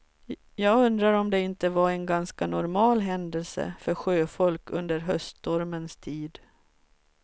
Jag undrar om det inte var en ganska normal händelse för sjöfolk under höststormens tid.